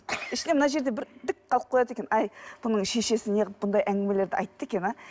іште мына жерде бір дік қалып қояды екен әй бұның шешесі неғып мұндай әңгімелерді айтты екен а